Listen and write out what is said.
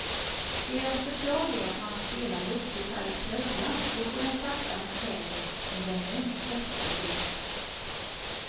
Deras förslag är att man spelar luftgitarr i tröjan, då får den sakta men säkert en genuint svettig look.